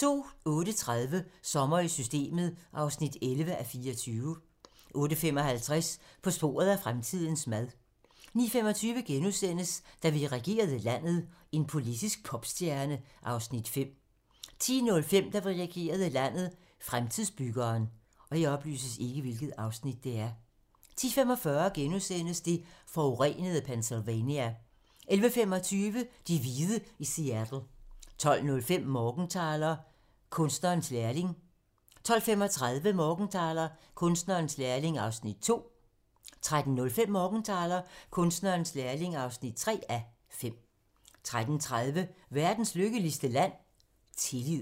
08:30: Sommer i Systemet (11:24) 08:55: På sporet af fremtidens mad 09:25: Da vi regerede landet - en politisk popstjerne (Afs. 5)* 10:05: Da vi regerede landet – Fremtidsbyggeren 10:45: Det forurenede Pennsylvania * 11:25: De hvide i Seattle 12:05: Morgenthaler: Kunstnerens lærling 12:35: Morgenthaler: Kunstnerens lærling (2:5) 13:05: Morgenthaler: Kunstnerens lærling (3:5) 13:30: Verdens lykkeligste land? -tillid